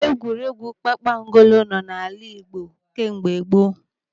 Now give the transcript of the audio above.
Egwuregwu kpakpangolo nọ n'ala Igbo kemgbe gboo.